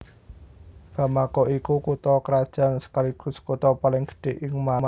Bamako iku kutha krajan sekaligus kutha paling gedhé ing Mali